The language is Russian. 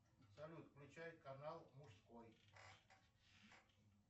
салют включай канал мужской